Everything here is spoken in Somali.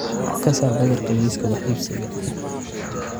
ka saar badarka liiska wax iibsiga